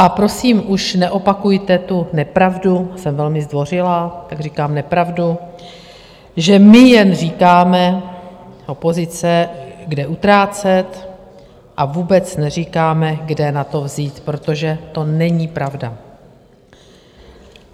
A prosím, už neopakujte tu nepravdu - jsem velmi zdvořilá, tak říkám nepravdu - že my jen říkáme, opozice, kde utrácet, a vůbec neříkáme, kde na to vzít, protože to není pravda.